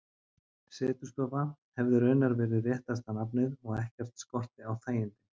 Setustofa hefði raunar verið réttasta nafnið, og ekkert skorti á þægindin.